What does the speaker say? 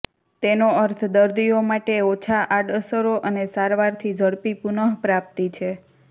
તેનો અર્થ દર્દીઓ માટે ઓછા આડઅસરો અને સારવારથી ઝડપી પુનઃપ્રાપ્તિ છે